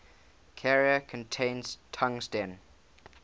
carrier contains tungsten